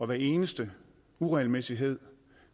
hver eneste uregelmæssighed